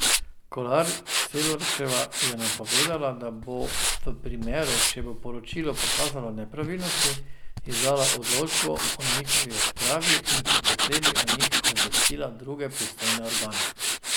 Kolar Celarčeva je napovedala, da bo v primeru, če bo poročilo pokazalo nepravilnosti, izdala odločbo o njihovi odpravi in po potrebi o njih obvestila druge pristojne organe.